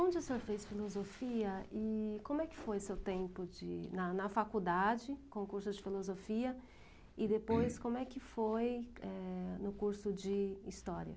Onde o senhor fez Filosofia e como é que foi seu tempo de na na faculdade, com curso de Filosofia, e depois como é que foi, eh, no curso de História?